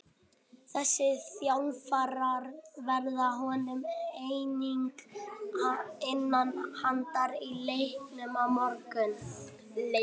Þessi þjálfarar verða honum einnig innan handar í leiknum á morgun.